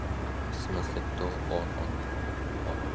в смысле кто он она оно